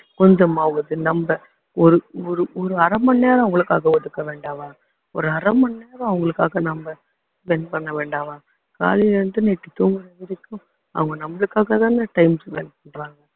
கொஞ்சமாவது நம்ம ஒரு ஒரு ஒரு அரை மணி நேரம் அவங்களுக்காக ஒதுக்க வேண்டாமா ஒரு அரை மணி நேரம் அவங்களுக்காக நாம spend பண்ண வேண்டாமா காலையில இருந்து night தூங்கற வரைக்கும் அவங்க நம்மளுக்காகத்தானே time spend பண்றாங்க